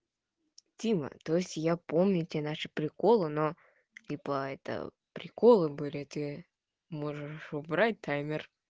тима то есть я помню тебя наша приколы но типо это приколы были ты можешь убрать таймер